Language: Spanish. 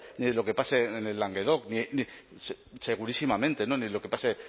ni de lo que pase en languedoc segurísimamente ni lo que pase